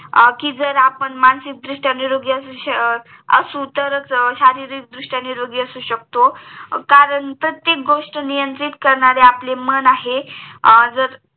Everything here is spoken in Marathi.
कि जर आपण मानसिक दृष्ट्या निरोगी असू तर च हम्म शारीरिक दृष्ट्या निरोगी असू शकतो कारण प्रत्येक गोष्ट नियंत्रित करणारे आपले मन आहे